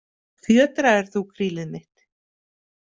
Fjötraðir þú krílið mitt?